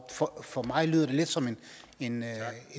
for mig lyder det lidt som en